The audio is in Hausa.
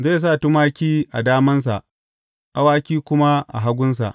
Zai sa tumaki a damansa, awaki kuma a hagunsa.